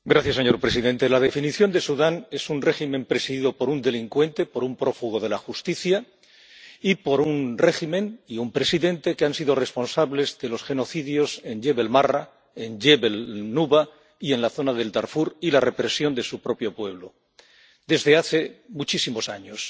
Señor presidente, la definición de Sudán es un régimen presidido por un delincuente, por un prófugo de la justicia y por un régimen y un presidente que han sido responsables de los genocidios en Yebel Marra, en Yebel Nuba y en la zona del Darfur, y de la represión de su propio pueblo desde hace muchísimos años.